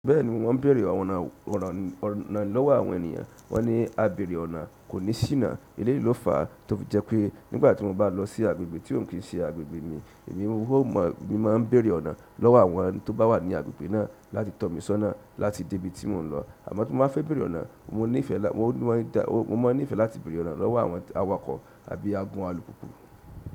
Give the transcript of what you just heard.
Bẹ́ẹ̀ni wọ́n béèrè ọ̀nà lọ́wọ́ àwọn ènìyàn. Wọ́n ní "Àbẹ̀rẹ̀ ọ̀nà kò ní ṣíná." Èléyìí ló fa tó fi jẹ́ pé nígbà tí mo bá lọ sí agbègbè tí ò ń kí ń ṣe agbègbè mi, èmi máa ń béèrè ọ̀nà lọ́wọ́ àwọn tó bá wà ní agbègbè náà láti tọ́ mi sọ́nà láti dé ibi tí mò ń lọ. Àmọ́ tí mo bá fẹ́ béèrè ọ̀nà, mo máa nífẹ̀ẹ́ láti béèrè ọ̀nà lọ́wọ́ àwọn awakọ̀ àbí agbọn alùpùpù.